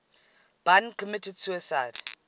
bun committed suicide